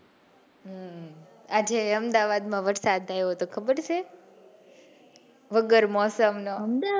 હમ એટલે અમદાવાદ માં વરસાદ થયો હતો ખબર છે વગર મૌસમ નો અમદાવાદ,